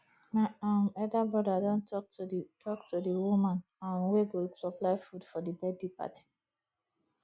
my um elder broda don talk to the talk to the woman um wey go supply food for the birthday party